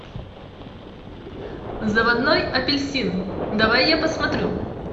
заводной апельсин давай я посмотрю